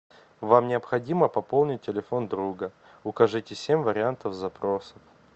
вам необходимо пополнить телефон друга укажите семь вариантов запроса